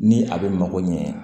Ni a bɛ mako ɲɛ wa